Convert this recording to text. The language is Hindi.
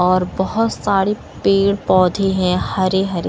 और बहुत सारे पेड़ पौधे हैं हरे हरे --